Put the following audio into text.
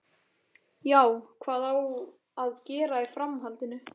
Já, hvað á að gera í framhaldinu?